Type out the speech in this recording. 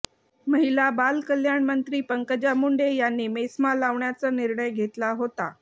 महिला बाल कल्याण मंत्री पंकजा मुंडे यांनी मेस्मा लावण्याचा निर्णय घेतला होता